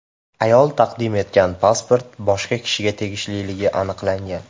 Ayol taqdim etgan pasport boshqa kishiga tegishliligi aniqlangan.